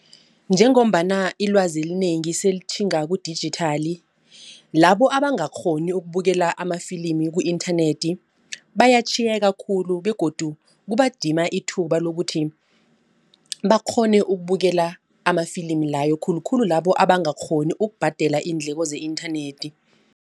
Njengombana ilwazi elinengi sele litjhinga kudijithali. Labo abangakghoni ukubukela amafilimi ku-internet bayatjhiyeka khulu begodu kubadima ithuba lokuthi bakghone ukubukela amafilimi layo khulukhulu labo abangakghoni ukubhadela iindleko ze-internet.